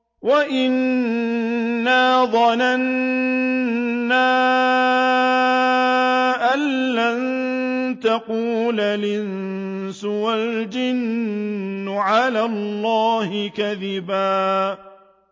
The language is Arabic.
وَأَنَّا ظَنَنَّا أَن لَّن تَقُولَ الْإِنسُ وَالْجِنُّ عَلَى اللَّهِ كَذِبًا